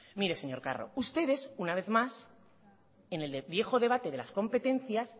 mire señor carro ustedes una vez más en el viejo debate de las competencias